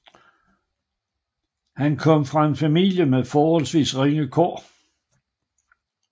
Han kom fra en familie med forholdsvis ringe kår